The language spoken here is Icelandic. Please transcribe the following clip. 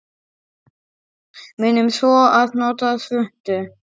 Munum svo að nota svuntu.